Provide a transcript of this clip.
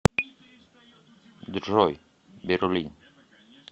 джой берлин